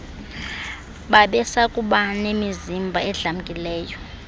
babesakuba nemizimba edlamkileyo